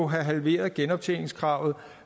have halveret genoptjeningskravet